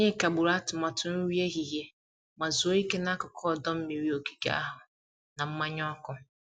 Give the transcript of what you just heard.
Anyị kagburu atụmatụ nri ehihie ma zuo ike n'akụkụ ọdọ mmiri ogige ahụ na mmanya ọkụ.